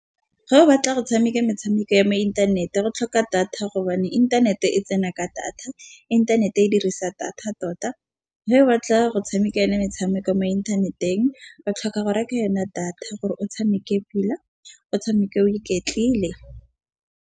Ga o batla go tshameka metshameko ya mo inthanete go tlhoka data, gobane inthanete e tsena ka data inthanete e dirisa data tota. Ge o batla go tshameka yone metshameko mo inthaneteng ba tlhoka go reke yona data gore o tshameke pila o tshameka o iketlile.